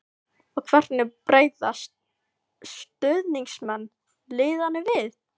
Og hvernig bregðast stuðningsmenn liðanna við?